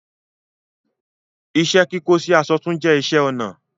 Ìṣẹ̀-kíkọ̀ sì àṣọ̀ tún jẹ̀ ìṣẹ̀-ọnà